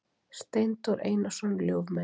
Steindór Einarsson ljúfmenni.